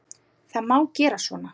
Það má gera svona